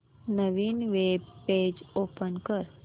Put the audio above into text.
नवीन web page open कर